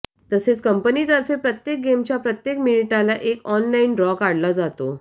तसेच कंपनीतर्फे प्रत्येक गेमच्या प्रत्येक मिनिटाला एक ऑनलाइन ड्रॉ काढला जातो